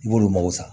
I b'olu mago sa